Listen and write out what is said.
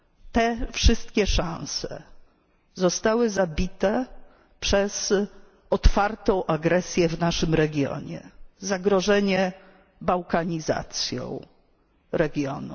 Te wszystkie szanse zostały zabite przez otwartą agresję w naszym regionie, zagrożenie bałkanizacją regionu.